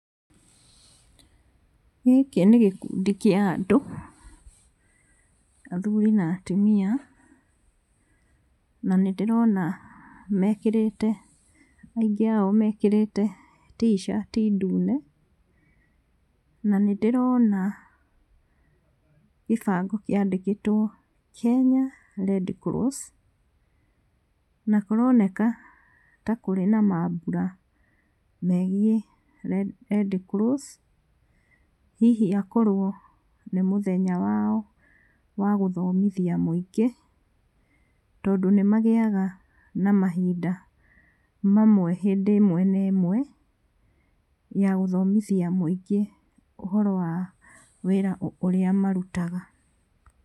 Gĩkĩ nĩ gĩkundi kĩa andũ, athuri na atumia, na nĩ ndĩrona mekĩrĩte aingĩ ao mekĩrĩte ticati ndune, na nĩ ndĩrona gĩbango kĩandĩkĩtwo Kenya Redcross, na kũroneka ta kũrĩ na mambura megiĩ Redcross, hihi akorwo nĩ mũthenya wao wa gũthomithia mũingĩ tondũ nĩ magĩaga na mahinda mamwe hĩndĩ ĩmwe na ĩmwe ya gũthomithia mũingĩ ũhoro wa wĩra ũrĩa marutaga.